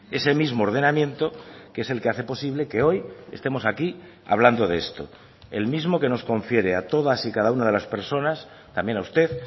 ese mismo ordenamiento que es el que hace posible que hoy estemos aquí hablando de esto el mismo que nos confiere a todas y cada una de las personas también a usted